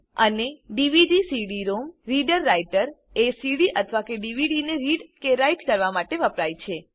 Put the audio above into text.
અને DVD CD ROM reader writer એ CD અથવા ડીવીડીને રીડ કે રાઈટ કરવા માટે વપરાય છે